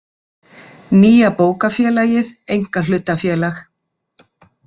Nýja Bókafélagið einkahlutafélag.